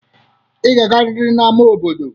Ị ga-agarịrị n'ama obodo.